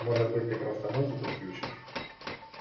может быть ты просто музыку включишь